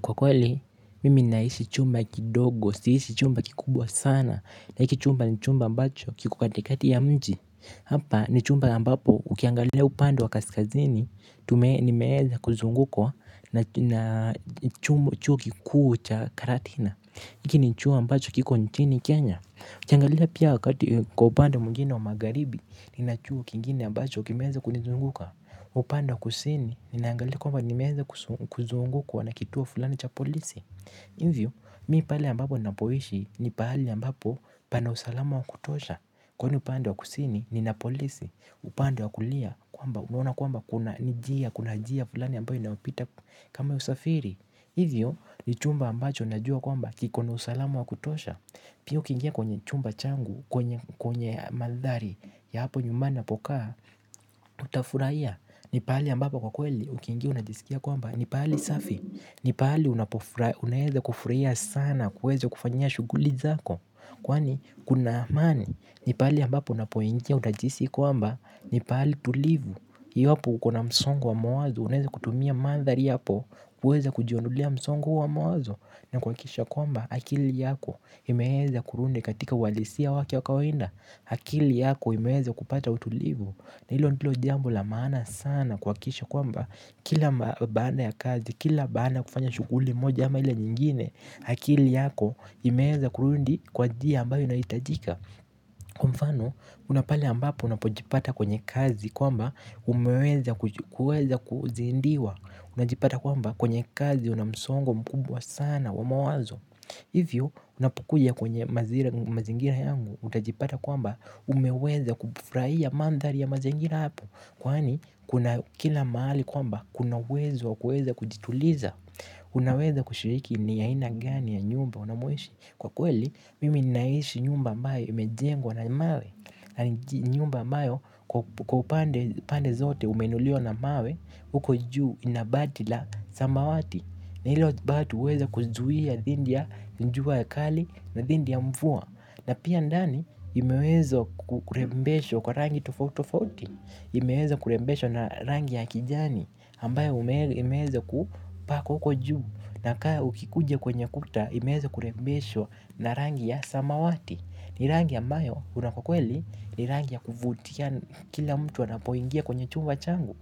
Kwa kweli, mimi naishi chumba kidogo, siishi chumba kikubwa sana, na hiki chumba ni chumba ambacho kiko katikati ya mji. Hapa ni chumba ambapo, ukiangalia upande wa kaskazini, ni meweza kuzungukwa na chuo kikuu cha karatina. Hiki ni chuo ambacho kiko nchini Kenya. Ukiangalia pia wakati kwa upande mwingine wa magharibi, nina chuo kingine ambacho, kimeweza kunizunguka. Upande wa kusini ni naangalia kwamba ni meweza kuzungukwa na kituo fulani cha polisi. Hivyo mi pale ambapo nina poishi ni pahali ambapo pana usalama wa kutosha. Kwani upande wa kusini nina polisi upande wa kulia kwamba unaona kwamba kuna kuna njia fulani ambayo inayopita kama ya usafiri. Hivyo ni chumba ambacho na jua kwamba kiko na usalama wa kutosha. Pia ukiingia kwenye chumba changu, kwenye mandhari ya hapo nyumbani napokaa, utafurahia. Ni pahali ambapo kwa kweli, ukiingia unajisikia kwamba, ni pahali safi. Ni pahali unaeza kufurahia sana, kuweza kufanyia shughuli zako. Kwani, kuna amani, ni pahali ambapo unapoingia unajihisi kwamba, ni pahali tulivu iwapo ukona msongo wa mawazo, unaweza kutumia mandhari yapo, kuweza kujiondolea msongo huo wa mawazo na kuhakikisha kwamba akili yako imeweza kurudi katika uhalisia wake wakawaida. Akili yako imeweza kupata utulivu. Na hilo ndilo jambo lamaana sana kuhakikisha kwamba kila baada ya kazi, kila baada ya kufanya shughuli moja ama ile nyingine. Akili yako imeweza kurudi kwa njia ambayo inahitajika. Kwa mfano unapale ambapo unapojipata kwenye kazi kwamba umeweza kuzidiwa. Unajipata kwamba kwenye kazi unamsongo mkubwa sana wa mawazo. Hivyo unapokuja kwenye mazingira yangu utajipata kwamba umeweza kufurahia mandhari ya mazingira hapo. Kwani kuna kila mahali kwamba kuna uwezo wa kuweza kujituliza. Unaweza kushiriki ni aina gani ya nyumba unamoishi. Kwa kweli mimi naishi nyumba ambayo imejengwa na mawe. Na ni nyumba ambayo kwa upande zote umeinuliwa na mawe. Huko juu inabati la samawati. Na hilo bati huweza kuzuia dhidi ya jua kali na dhidi ya mvua. Na pia ndani imeweza kurembeshwa kwa rangi tofautitofauti. Imeweza kurembeshwa na rangi ya kijani ambayo imeweza kupakwa huko juu. Na kaa ukikuja kwenye ukuta imeweza kurembeshwa na rangi ya samawati. Ni rangi ambayo una kwa kweli. Ni rangi ya kuvutia kila mtu anapoingia kwenye chumba changu.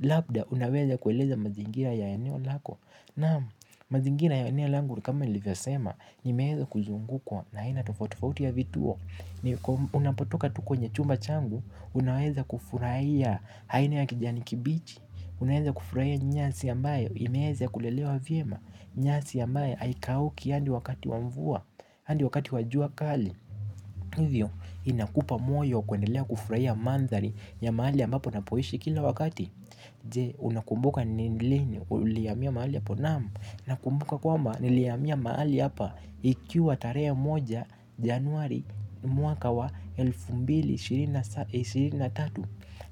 Labda unaweza kueleza mazingira ya eneo lako. Naam mazingira ya eneo langu ni kama nilivyo sema. Nimeweza kuzungukwa na aina tofauti tofauti ya vituo. Ni unapotoka tu kwenye chumba changu. Unaweza kufurahia aina ya kijani kibichi. Unaweza kufurahia nyasi ambayo imeweza kulelewa vyema. Nyasi ambayo haikauki hadi wakati wa mvua hadi wakati wa jua kali. Hivyo inakupa moyo kuendelea kufurahia mandhari ya mahali ambapo napoishi kila wakati. Je unakumbuka ni lini ulihamia mahali hapo naam. Na kumbuka kwamba ni lihamia mahali hapa. Ikiwa tarehe moja januari mwaka wa elfu mbili ishirini na tatu.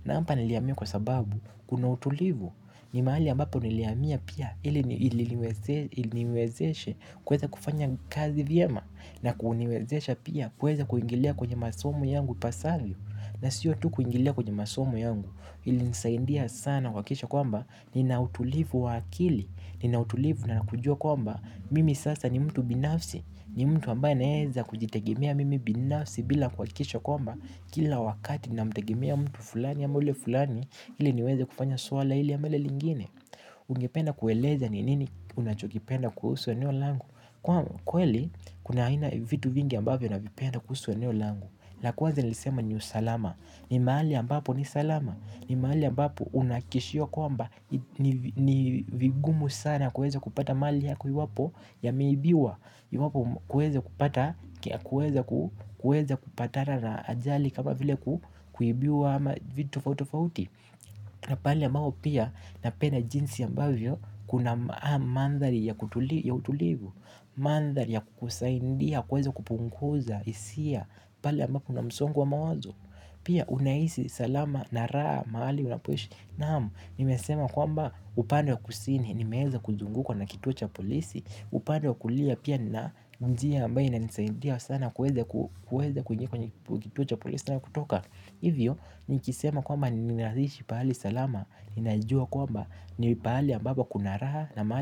Na hapa ni lihamia kwa sababu kuna utulivu. Ni mahali ambapo ni lihamia pia ili niwezeshe kuweza kufanya kazi vyema. Na kuniwezesha pia kuweza kuingilia kwenye masomo yangu ipasavyo. Na siyo tu kuingilia kwenye masomo yangu ili nisaidia sana kuhakikisha kwamba nina utulivu wa akili nina utulivu na kujua kwamba mimi sasa ni mtu binafsi ni mtu ambaye anayeweza kujitegemea mimi binafsi bila kuhakikisha kwamba kila wakati na mtegemea mtu fulani ama ule fulani ili niweze kufanya swala hili ama lile lingine ungependa kueleza ni nini unachokipenda kuhusu eneo langu kweli kuna aina ya vitu vingi ambavyo navipenda kuhusu eneo langu la kwanza nilisema ni usalama ni mahali ambapo ni salama. Ni mahali ambapo unahakikishiwa kwamba ni vigumu sana kuweza kupata mali yako iwapo yameibiwa. Kuweza kupata kuweza kupatana na ajali kama vile kuibiwa ama vitu tofauti tofauti. Na pahali ambapo pia napenda jinsi ambavyo kuna mandhari ya ya utulivu. Mandhari ya kukusaidia, kuweza kupunguza, hisia. Pahali ambapo una msongo wa mawazo. Pia unahisi salama na raha mahali unapoishi. Naam nimesema kwamba upande wa kusini nimeweza kuzungukwa na kituo cha polisi. Upande wa kulia pia nina njia ambayo inanisaidia sana kuweza kuweza kuingia kwenye kituo cha polisi na kutoka. Hivyo nikisema kwamba ninaishi pahali salama. Ninajua kwamba nipahali ambapo kuna raha na mahali.